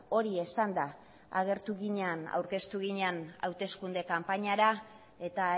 hori izanda aurkeztu ginen hauteskunde kanpainara eta